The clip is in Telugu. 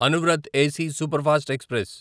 Anuvrat AC superfast express